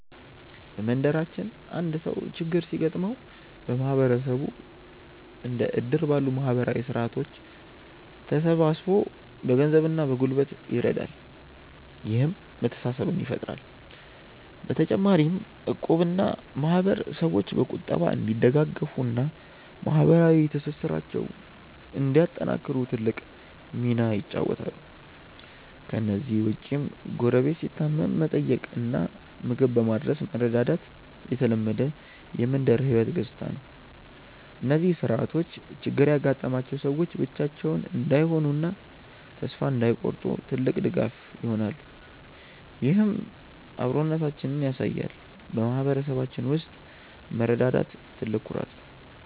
በመንደራችን አንድ ሰው ችግር ሲገጥመው ማህበረሰቡ እንደ እድር ባሉ ማህበራዊ ስርዓቶች ተሰባስቦ በገንዘብና በጉልበት ይረዳል፤ ይህም መተሳሰብን ይፈጥራል። በተጨማሪም እቁብና ማህበር ሰዎች በቁጠባ እንዲደጋገፉና ማህበራዊ ትስስራቸውን እንዲያጠናክሩ ትልቅ ሚና ይጫወታሉ። ከእነዚህ ውጭም ጎረቤት ሲታመም በመጠየቅና ምግብ በማድረስ መረዳዳት የተለመደ የመንደር ህይወት ገጽታ ነው። እነዚህ ስርዓቶች ችግር ያጋጠማቸው ሰዎች ብቻቸውን እንዳይሆኑና ተስፋ እንዳይቆርጡ ትልቅ ድጋፍ ይሆናሉ፤ ይህም አብሮነታችንን ያሳያል። በማህበረሰባችን ውስጥ መረዳዳት ትልቅ ኩራት ነው።